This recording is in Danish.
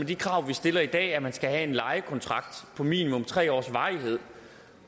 de krav vi stiller i dag at man skal have en lejekontrakt af minimum tre års varighed